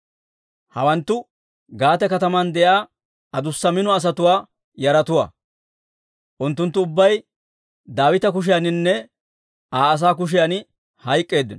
Hawanttu Gaate kataman de'iyaa adussa mino asatuwaa yaratuwaa; unttunttu ubbay Daawita kushiyaaninne Aa asaa kushiyan hayk'k'eeddino.